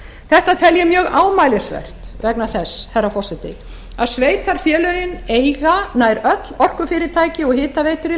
þetta tel ég mjög ámælisvert vegna þess herra forseti að sveitarfélögin eiga nær öll orkufyrirtæki og hitaveitur í